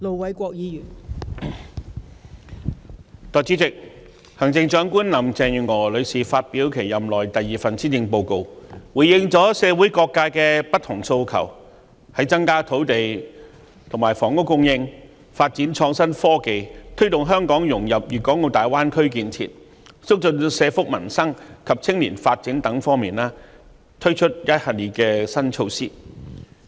代理主席，行政長官林鄭月娥女士發表其任內第二份施政報告，回應了社會各界不同訴求。在增加土地、房屋供應、發展創新科技、推動香港融入粵港澳大灣區建設、促進社福民生及青年發展等方面，推出一系列新措施。